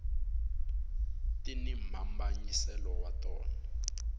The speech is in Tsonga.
tini mhambanyiselo ya tona